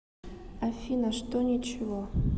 афина что ничего